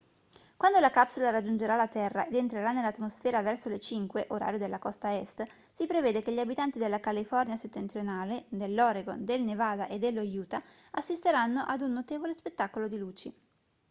quando la capsula raggiungerà la terra ed entrerà nell'atmosfera verso le 05:00 orario della costa est si prevede che gli abitanti della california settentrionale dell'oregon del nevada e dello utah assisteranno ad un notevole spettacolo di luci